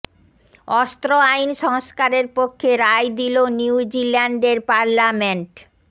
অস্ত্র আইন সংস্কারের পক্ষে রায় দিলো নিউ জিল্যান্ডের পার্লামেন্ট